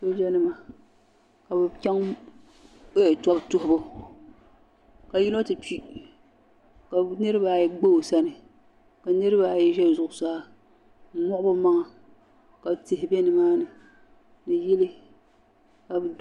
Sooja nima ka bɛ chaŋ tobu yihibu ka yino ti kpi ka niriba ayi gba o sani ka niriba ayi za zuɣusaa n moɣi bɛ maŋa ka tihi be nimaani ni yili.